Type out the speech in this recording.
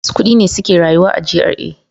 Masu kudi ne suke rayuwa a GRA.